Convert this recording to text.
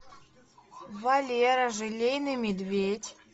валера желейный медведь